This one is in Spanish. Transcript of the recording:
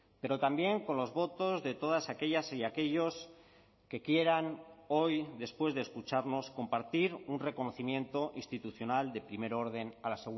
pero también con los votos de todas aquellas y aquellos que quieran hoy después de escucharnos compartir un reconocimiento institucional de primer orden a la